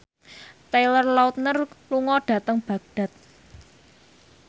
Taylor Lautner lunga dhateng Baghdad